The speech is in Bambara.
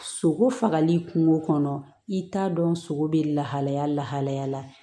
Sogo fagali kungo kɔnɔ i t'a dɔn sogo be lahalaya lahalaya la